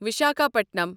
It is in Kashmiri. وِشاکھاپٹنَم